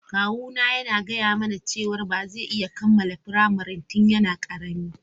Kawuna ya gaya mana cewa ba zai iya kammala firamare tun yana karami.